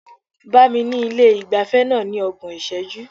Bá mi ní ilé ìgbafẹ́ náà ní ọgbọ̀n ìṣẹ́jú.